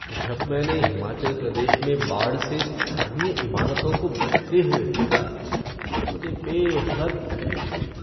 जब मैंने हिमाचल प्रदेश में बाढ़ से स्थानीय इमारतों को बहते हुए देखा तो मुझे बेहद तकलीफ़ हुई।